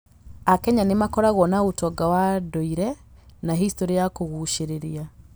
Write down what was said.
AKenya nĩ makoragwo na ũtonga wa ndũire na historĩ ya kũgucĩrĩria.